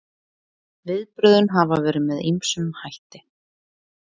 Viðbrögðin hafa verið með ýmsum hætti